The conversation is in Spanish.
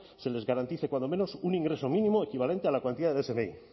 se les garantice cuando menos un ingreso mínimo equivalente a la cuantía del smi